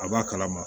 A b'a kalama